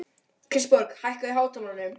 Kristborg, hækkaðu í hátalaranum.